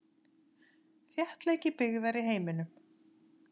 Þéttleiki byggðar í heiminum.